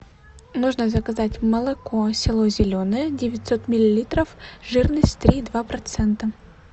нужно заказать молоко село зеленое девятьсот миллилитров жирность три и два процента